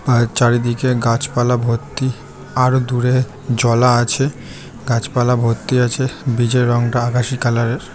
আর চারিদিকে গাছপালা ভর্তি আরো দূরে জলা আছে গাছপালা ভর্তি আছে ব্রিজ -এর রঙটা আকাশী কালার -এর।